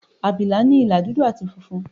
Àbìlà ní ìlà dúdú àti funfun.